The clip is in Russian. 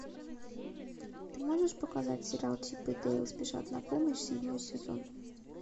ты можешь показать сериал чип и дейл спешат на помощь седьмой сезон